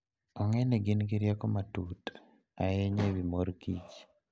Ong'e ni gin gi rieko matut ahinya e wi mor kich.